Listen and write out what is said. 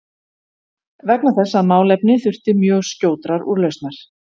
vegna þess að málefni þurfti mjög skjótrar úrlausnar.